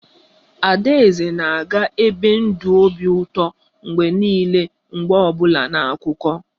Adaeze na ga-ebi ndụ obi ụtọ mgbe niile mgbe ọ bụla na akụkọ